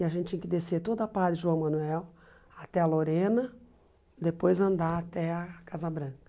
E a gente tinha que descer toda a parte de João Manuel até a Lorena, depois andar até a Casa Branca.